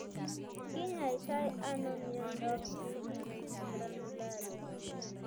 Kinyaitai anoi miondap cheilitis glandularis?